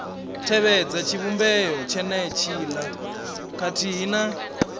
tevhedza tshivhumbeo tshenetshiḽa khathihi na